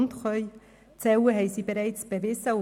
Dass sie zählen können, haben sie bereits bewiesen.